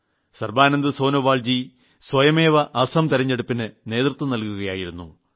സർബാനന്ദ് സോനോവാൾജി സ്വയമേവ അസം തിരഞ്ഞെടുപ്പിന് നേതൃത്വം നൽകുകയായിരുന്നു